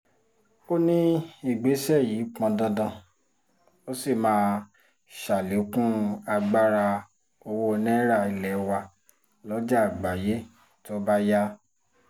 ó ní ìgbésẹ̀ yìí pọn dandan ó sì máa ṣàlékún agbára owó náírà ilé wa lọ́jà àgbáyé tó bá yá